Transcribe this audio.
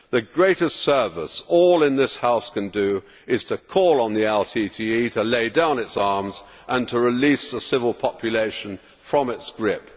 The greatest service all in this House can do is call on the LTTE to lay down its arms and to release the civil population from its grip.